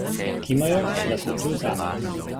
Kimajo, da so tu zame.